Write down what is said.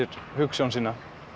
hugsjón sína